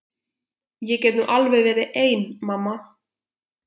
Ég get nú alveg verið ein mamma.